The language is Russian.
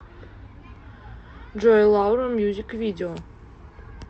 джой лаура мьюзик видео